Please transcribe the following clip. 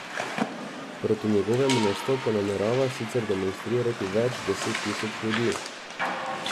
Proti njegovemu nastopu namerava sicer demonstrirati več deset tisoč ljudi.